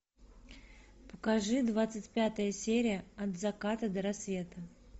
покажи двадцать пятая серия от заката до рассвета